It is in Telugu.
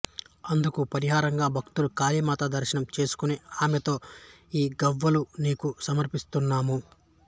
అందుకు పరిహారంగా భక్తులు కవళీమాత దర్శనం చేసుకుని ఆమెతో ఈ గవ్వలు నీకు సమర్పిస్తున్నాము